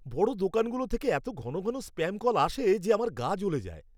বড় দোকানগুলো থেকে এতো ঘন ঘন স্প্যাম কল আসে যে আমার গা জ্বলে যায়!